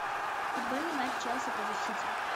футбольный матч челси против сити